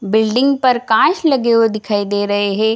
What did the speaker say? Building पर कांच लगे हुए दिखाई दे रहे हे।